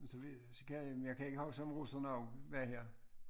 Men så ved så kan men jeg kan ikke huske om huset nu var her